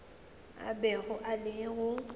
a bego a le go